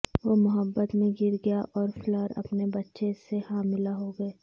وہ محبت میں گر گیا اور فلر اپنے بچے سے حاملہ ہوگئے